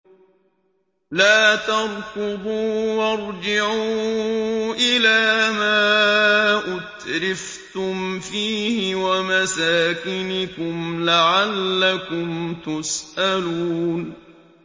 لَا تَرْكُضُوا وَارْجِعُوا إِلَىٰ مَا أُتْرِفْتُمْ فِيهِ وَمَسَاكِنِكُمْ لَعَلَّكُمْ تُسْأَلُونَ